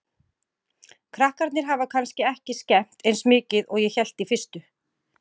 Krakkarnir hafa kannski ekki skemmt eins mikið og ég hélt í fyrstu.